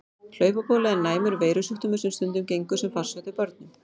Hlaupabóla er næmur veirusjúkdómur sem stundum gengur sem farsótt hjá börnum.